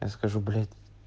я скажу блять